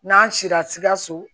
N'an sira sikaso